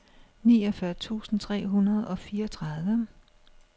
niogfyrre tusind tre hundrede og fireogtredive